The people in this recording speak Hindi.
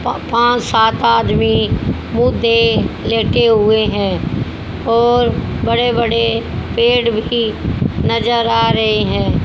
प पान सात आदमी मुद्दे लेके हुए हैं और बड़े बड़े पेड़ भी नजर आ रहे हैं।